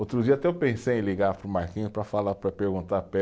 Outro dia até eu pensei em ligar para o Marquinhos para falar, para perguntar